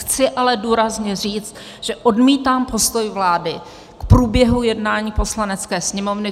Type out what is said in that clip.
Chci ale důrazně říct, že odmítám postoj vlády k průběhu jednání Poslanecké sněmovny.